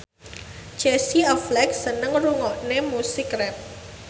Casey Affleck seneng ngrungokne musik rap